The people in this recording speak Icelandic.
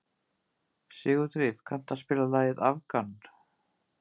Sigurdríf, kanntu að spila lagið „Afgan“?